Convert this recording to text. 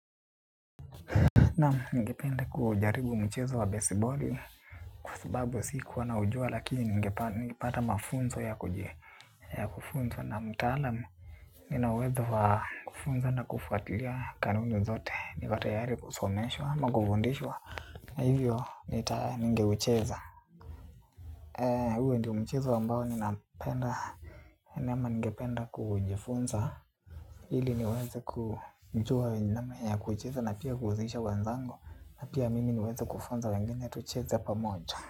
Naam, ningependa kujaribu mchezo wa besiboli. Kwa sababu sikua naujua, lakini ngepata mafunzo ya kufunzwa na mtaalamu. Nina uwezo wa kufunza na kufuatilia kanuni zote. Niko tayari kusomeswa ama kufundishwa. Hivyo, nita ningeucheza. Huo ndio mchezo ambao ninapenda, nama ningependa kujifunza. Ili niweze kujua namna ya kuucheza na pia kuhusisha wanzangu. Pia mimi niweze kufunza wengine tucheze pamoja.